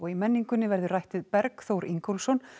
í menningunni verður rætt við Berg Þór Ingólfsson